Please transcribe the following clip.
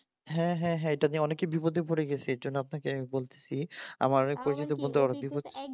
হ্যাঁ হ্যাঁ এটা নিয়ে অনেকেই বিপদে পড়ে গেছে এর জন্য আপনাকে বলছি আমার এক পরিচিত বন্ধু ওই হচ্ছে